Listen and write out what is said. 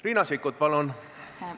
Riina Sikkut, palun!